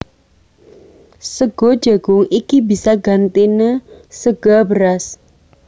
Sega jagung iki bisa gantiné sega beras